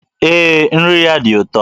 Ee, nri ya dị ụtọ